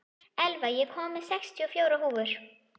Elva, ég kom með sextíu og fjórar húfur!